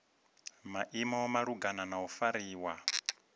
maimo malugana na u fariwa